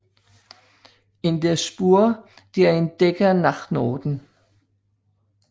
In der Spur der Entdecker nach Norden